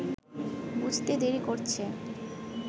বুঝতে দেরি করছে